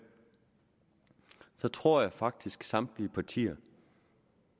tror jeg faktisk at samtlige partier